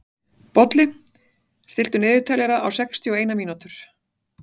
Bolli, stilltu niðurteljara á sextíu og eina mínútur.